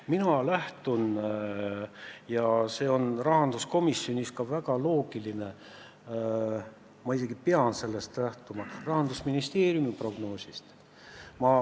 Mina lähtun Rahandusministeeriumi prognoosist ja see on rahanduskomisjonis ka väga loogiline, ma isegi pean sellest lähtuma.